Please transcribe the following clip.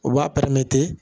U b'a pɛrɛn